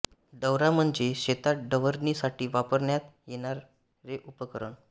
डवरा म्हणजे शेतात डवरणी साठी वापरण्यात येणारे उपकरण